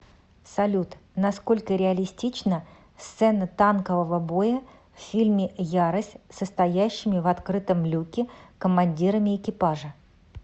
салют насколько реалистична сцена танкового боя в фильме ярость со стоящими в открытом люке командирами экипажа